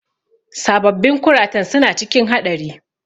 Sababbin kuratan suna cikin haɗari.